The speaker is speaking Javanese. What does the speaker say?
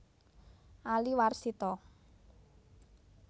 Ali Warsito